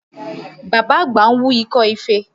Bàbá àgbà ń wú ikọ́ ife